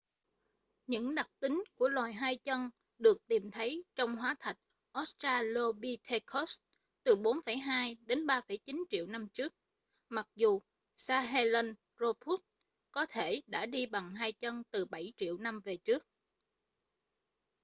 những đặc tính của loài hai chân được tìm thấy trong hóa thạch australopithecus từ 4,2-3,9 triệu năm trước mặc dù sahelanthropus có thể đã đi bằng hai chân từ bảy triệu năm về trước